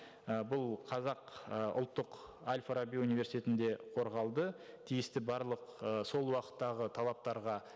і бұл қазақ і ұлттық әл фараби университетінде қорғалды тиісті барлық ы сол уақыттағы талаптарға